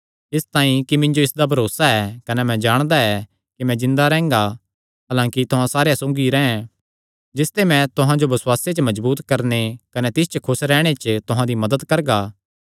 इसतांई कि मिन्जो इसदा भरोसा ऐ कने मैं जाणदा ऐ कि मैं जिन्दा रैंह्गा हलांकि तुहां सारेयां सौगी रैंह् जिसते मैं तुहां जो बसुआसे च मजबूत करणे कने तिस च खुस रैहणे च तुहां दी मदत करगा